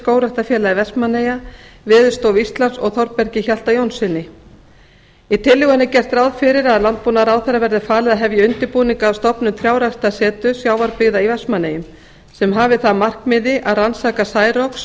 skógræktarfélagi vestmannaeyja veðurstofu íslands og þorbergi hjalta jónssyni í tillögunni er gert ráð fyrir að landbúnaðarráðherra verði falið að hefja undirbúning að stofnun trjáræktarseturs sjávarbyggða í vestmannaeyjum sem hafi það að markmiði að rannsaka særoks